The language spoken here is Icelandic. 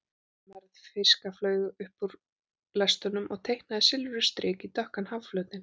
Mergð fiska flaut upp úr lestunum og teiknaði silfruð strik í dökkan hafflötinn.